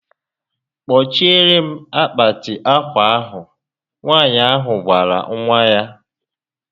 Kpochiere m akpati akwa ahụ Nwaànyị ahụ gwara nwa ya